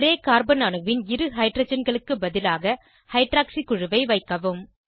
ஒரே கார்பன் அணுவின் இரு ஹைட்ரஜன்களுக்கு பதிலாக ஹைட்ராக்சி குழுவை வைக்கவும்